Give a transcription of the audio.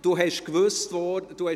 So wurde es gesagt.